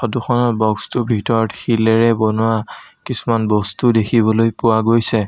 Photo খনত box টোৰ ভিতৰত শিলেৰে বনোৱা কিছুমান বস্তুও দেখিবলৈ পোৱা গৈছে।